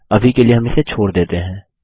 अभी के लिए हम इसे छोड़ देते हैं